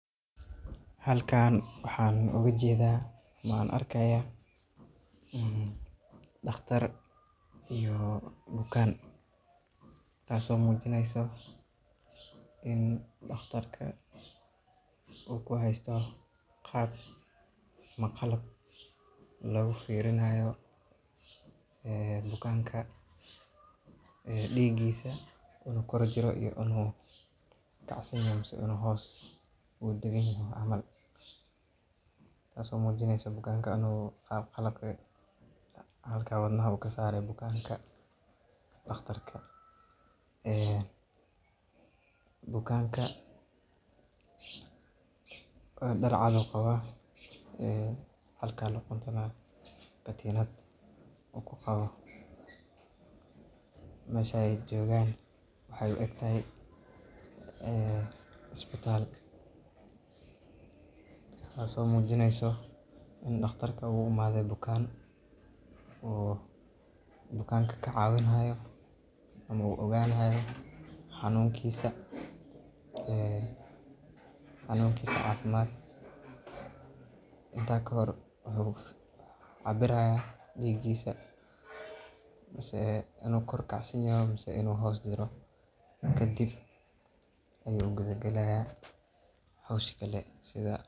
Halkan waxaa ooga jeeda ama aan arkaaya daqtar iyo bukaan, taas oo mujineyso in daqtarka uu ku haysto qalab lagu fiirinaayo bukaanka diigisa inuu kacsan yahay mise inuu hoos jiro uu dagan yaho, taas oo mujineyso in qalabka halkaas wadnaha uu kasaare bukaanka, daqtarka bukaanka dar cad ayuu qabaa, halkaas luquntana katiinad ayuu ku qabaa, meesha aay joogan waxeey u egtahay isbitaal, taas oo mujineyso in daqtarka uu u imaade bukaan, oo bukanka ka cawin haayo ama uu ogaan haayo xanuunkiisa cafimaad, inta kahor wuxuu cabiraaya diigisa, kadib ayuu galaaya howsha kale .